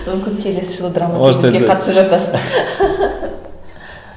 мүмкін келесі жылы драма қатысып жатарсыз